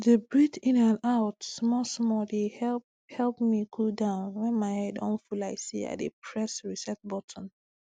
to dey breathe in and out smallsmall dey help help me cool down when my head don full like say i dey press reset button